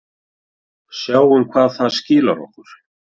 Sjáum hvað það skilar okkur.